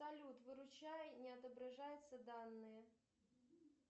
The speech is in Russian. салют выручай не отображаются данные